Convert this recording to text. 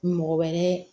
Mɔgɔ wɛrɛ